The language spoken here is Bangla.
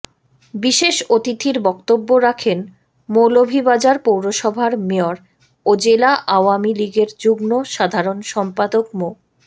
বিশেষ অতিথির বক্তব্য রাখেন মৌলভীবাজার পৌরসভার মেয়র ও জেলা আওয়ামী লীগের যুগ্ম সাধারণ সম্পাদক মো